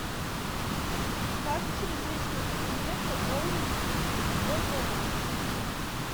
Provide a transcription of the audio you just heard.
как через личный кабинет пополнить свой баланс